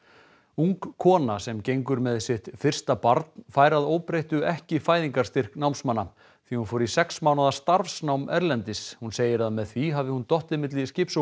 ung kona sem gengur með sitt fyrst barn fær að óbreyttu ekki fæðingarstyrk námsmanna því hún fór í sex mánaða starfsnám erlendis hún segir að með því hafi hún dottið á milli skips og